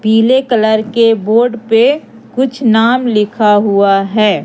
पीले कलर के बोर्ड पे कुछ नाम लिखा हुआ है।